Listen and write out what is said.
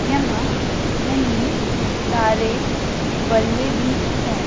यहा कहीं सारे बल्ले बी है।